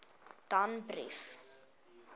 danbrief